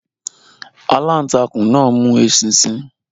Alantakun náà mu eṣinṣin